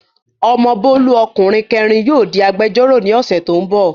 Ọmọ Bólú ọkùnrin kẹẹ̀rin yóò di agbẹ́jọ́rọ̀ ní ọ̀sẹ̀ tó n bọ̀